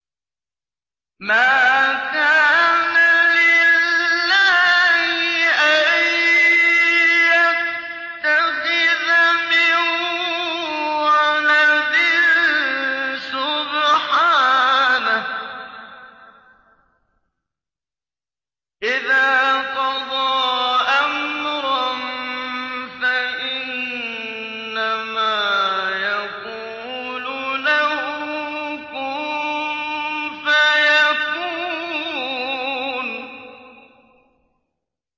مَا كَانَ لِلَّهِ أَن يَتَّخِذَ مِن وَلَدٍ ۖ سُبْحَانَهُ ۚ إِذَا قَضَىٰ أَمْرًا فَإِنَّمَا يَقُولُ لَهُ كُن فَيَكُونُ